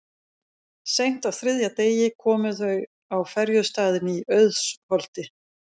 Seint á þriðja degi komu þau á ferjustaðinn í Auðsholti.